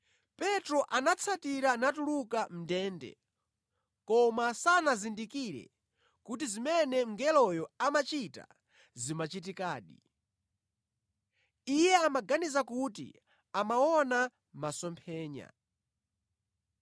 Petro anatsatira natuluka mʼndende, koma sanazindikire kuti zimene mngeloyo amachita zimachitikadi; iye amaganiza kuti amaona masomphenya.